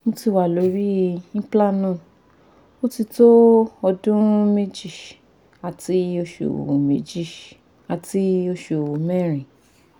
moti wa lori implanon otito odun meji ati osu meji ati osu merin